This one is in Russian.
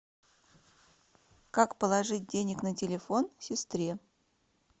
как положить денег на телефон сестре